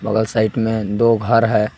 बगल साइड में दो घर है।